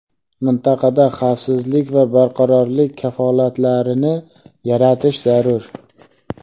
mintaqada xavfsizlik va barqarorlik kafolatlarini yaratish zarur.